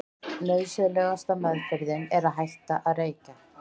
Nauðsynlegasta meðferðin er að hætta að reykja.